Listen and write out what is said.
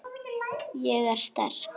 Ég er sterk.